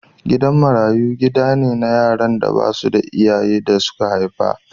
Gidan marayu gida ne na yaran da ba su da iyayen da suka haihu.